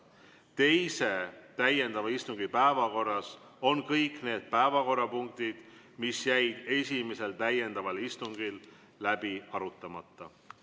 Teise täiendava istungi päevakorras on kõik need päevakorrapunktid, mis jäid esimesel täiendaval istungil läbi arutamata.